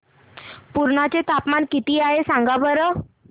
पुर्णा चे तापमान किती आहे सांगा बरं